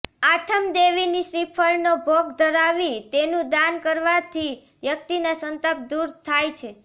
આઠમઃ દેવીને શ્રીફળનો ભોગ ધરાવી તેનું દાન કરવાથી વ્યકિતના સંતાપ દુર થાય છે